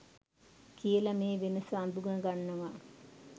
කියල මේ වෙනස අඳුනගන්නවා.